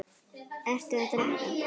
Ertu að drekka?